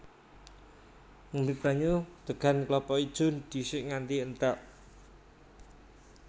Ngombé banyu degan klapa ijo dhisik nganti entèk